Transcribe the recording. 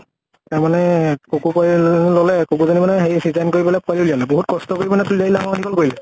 তাৰ মানে কুকুৰ কৰি ললে, কুকুৰ জনী মানে হেৰি ceaserean কৰি পালে পোৱালী উলিয়ালে। বহুত কষ্ট কৰি মানে ডাঙৰ দীঘল কৰিলে।